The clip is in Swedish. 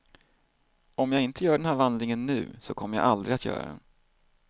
Om jag inte gör den här vandringen nu så kommer jag aldrig att göra den.